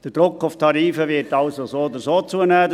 Der Druck auf die Tarife wird also so oder so zunehmen.